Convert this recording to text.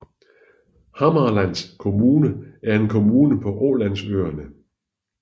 Hammarlands Kommune er en kommune på Ålandsøerne